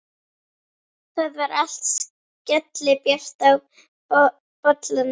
Það var allt skellibjart í bollanum!